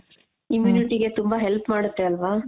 immunity ಗೆ ತುಂಬಾ help ಮಾಡುತ್ತೆ ಅಲ್ವಾ?